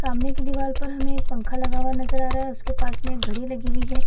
सामने की दिवार पर हमे एक पंखा लगा हुआ नज़र रहा है उसके पास में एक घड़ी लगी हुए है |